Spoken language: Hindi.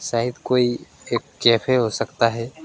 शायद कोई एक कैफे हो सकता है।